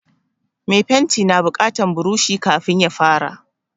Me fenti na buƙatan buroshi kafin ya fara